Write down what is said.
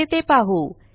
कसे ते पाहू